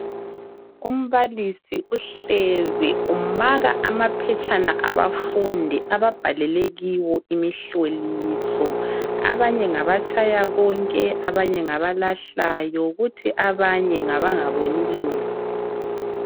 Umbalisi uhlezi umaka amaphetshana abafundi ababhalele kiwo imihloliso abanye ngabatshaya konke abanye ngabalahlayo kuthi abanye ngabangaboni lu.